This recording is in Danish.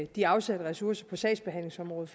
de afsatte ressourcer på sagsbehandlingsområdet